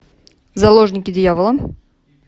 заложники дьявола